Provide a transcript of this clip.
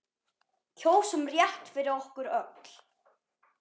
Kjósum rétt fyrir okkur öll.